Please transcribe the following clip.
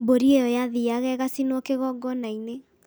mbũri ĩyo yathiaga ĩgacinwo kĩgongona-inĩ